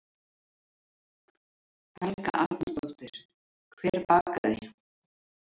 Helga Arnardóttir: Hver bakaði?